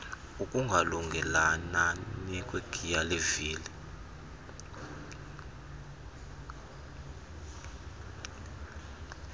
ukungalungelelani kwegiye yevili